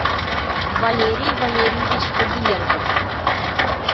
валерий валерьевич фадиенков